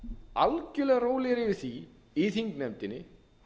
algjörlega rólegir yfir því í þingnefndinni